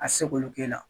A tɛ se k'olu k'e la